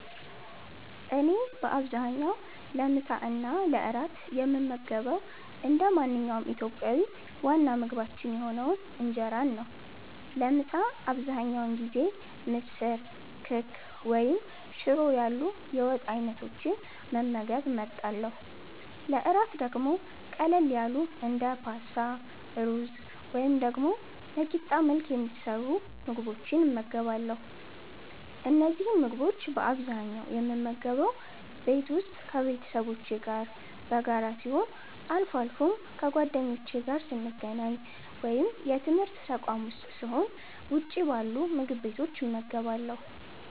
እኔ በአብዛኛው ለምሳ እና ለእራት የምመገበው እንደ ማንኛውም ኢትዮጵያዊ ዋና ምግባችን የሆነውን እንጀራን ነው። ለምሳ አብዛኛውን ጊዜ ምስር፣ ክክ ወይም ሽሮ ያሉ የወጥ አይነቶችን መመገብ እመርጣለሁ። ለእራት ደግሞ ቀለል ያሉ እንደ ፓስታ፣ ሩዝ ወይም ደግሞ በቂጣ መልክ የሚሰሩ ምግቦችን እመገባለሁ። እነዚህን ምግቦች በአብዛኛው የምመገበው ቤት ውስጥ ከቤተሰቦቼ ጋር በጋራ ሲሆን፣ አልፎ አልፎም ከጓደኞቼ ጋር ስገናኝ ወይም የትምርት ተቋም ዉስጥ ስሆን ውጭ ባሉ ምግብ ቤቶች እመገባለሁ።